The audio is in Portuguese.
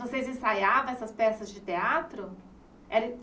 Vocês ensaiavam essas peças de teatro? Era